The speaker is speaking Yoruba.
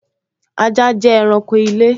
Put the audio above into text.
Ajá jẹ́ ẹranko ilé